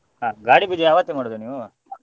ಹಾ ಗಾಡಿ ಪೂಜೆ ಆವತ್ತೇ ಮಾಡುದಾ ನೀವು?